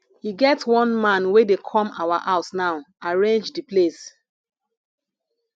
e get one man wey dey come our house now arrange the place